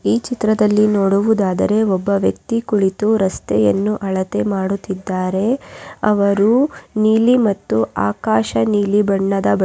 ಹಾಗೇ ಬಿಲ್ಡಿಂಗ್ ನಿರ್ಮಾಣಲ್ಲಾ ಕಷ್ಟ ಆಗ್ಬಿಟ್ಟಿದೆ.